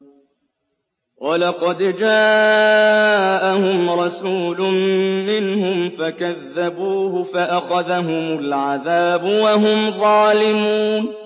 وَلَقَدْ جَاءَهُمْ رَسُولٌ مِّنْهُمْ فَكَذَّبُوهُ فَأَخَذَهُمُ الْعَذَابُ وَهُمْ ظَالِمُونَ